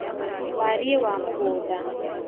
wariĩ wa mũgũnda